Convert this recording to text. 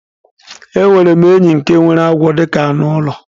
Enwerem enyi nke nwere agwo dika anu ulo